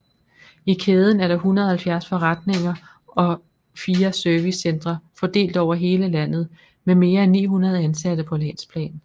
I kæden er der 170 forretninger og fire servicecentre fordelt over hele landet med mere end 900 ansatte på landsplan